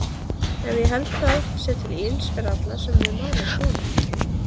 Ef ég held það sé til ills fyrir alla sem við málið koma?